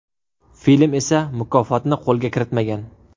Film esa mukofotni qo‘lga kiritmagan.